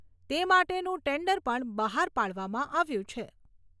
તે માટેનું ટેન્ડર પણ બહાર પાડવામાં આવ્યું છે.